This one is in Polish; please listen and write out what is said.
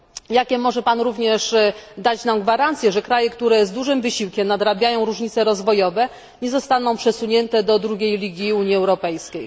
Jakie może Pan również dać nam gwarancje, że kraje, które z dużym wysiłkiem nadrabiają różnice rozwojowe, nie zostaną przesunięte do drugiej ligi Unii Europejskiej?